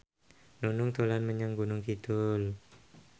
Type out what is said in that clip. Nunung dolan menyang Gunung Kidul